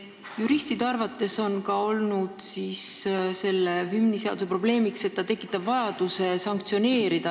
Juristide arvates on selle hümniseaduse probleemiks ka see, et see tekitab vajaduse rakendada sanktsioone.